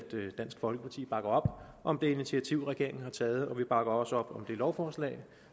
dansk folkeparti bakker op om det initiativ regeringen har taget og vi bakker også op om det lovforslag